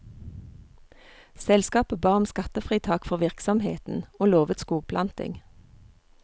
Selskapet ba om skattefritak for virksomheten, og lovet skogplanting.